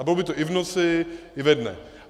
A bylo by to i v noci, i ve dne.